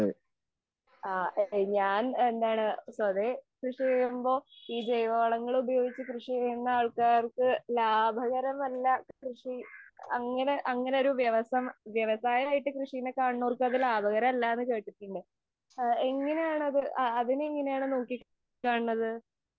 ഞാൻ എന്താണ് പൊതുവെ കൃഷി ചെയ്യുമ്പോൾ ഈ ജൈവ വളങ്ങൾ ഉപയോഗിച്ച് കൃഷി ചെയ്യുന്ന ആൾകാര്ക് ലാഭകരമല്ല കൃഷി അങ്ങനെ അങ്ങനെ ഒരു വ്യവസായ വ്യവസായ ആയി കൃഷിയെ കാണുന്നവർക്കു ലാഭകരമല്ല എന്ന് കേട്ടിട്ടുണ്ട്. എങ്ങനെയാണു അതിനെ എങ്ങനെയാണ് നോക്കി കാണുന്നത്?